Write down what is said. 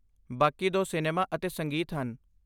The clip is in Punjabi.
ਬਾਕੀ ਦੋ ਸਿਨੇਮਾ ਅਤੇ ਸੰਗੀਤ ਹਨ।